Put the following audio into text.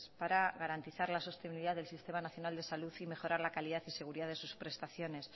para garantizar la sostenibilidad del sistema nacional de salud y mejorar la calidad y seguridad de sus prestaciones